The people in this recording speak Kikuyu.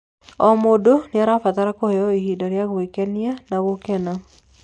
O mũndũ niarabatara kũheo ihinda rĩa gwikenia na gũkena